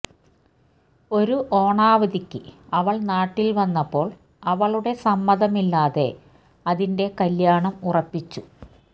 ഒരു ഓണാവധിക്ക് അവൾ നാട്ടിൽ വന്നപ്പോൾ അവളുടെ സമ്മതമില്ലാതെ അതിന്റെ കല്യാണം ഉറപ്പിച്ചു